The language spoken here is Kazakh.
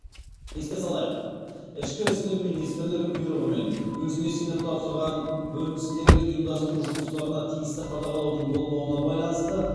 еске салайық ішкі істер министрлігі бұйрығымен өзіне сеніп тапсырылған бөліністегі ұйымдастыру жұмыстарына тиісті қадағалаудың болмауына байланысты